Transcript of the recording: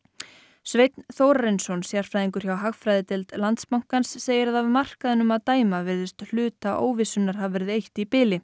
Sveinn Þórarinsson sérfræðingur hjá hagfræðideild Landsbankans segir að af markaðinum að dæma virðist hluta óvissunnar hafa verið eytt í bili